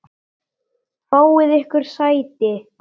Fáið yður sæti.